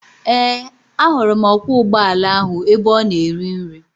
Ee, ahụrụ m ọkwọ ụgbọala ahụ ebe ọ na-eri nri.